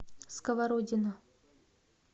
сковородино